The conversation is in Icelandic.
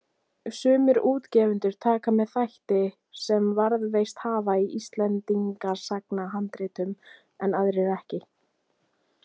Sumir útgefendur taka með þætti sem varðveist hafa í Íslendingasagnahandritum en aðrir ekki.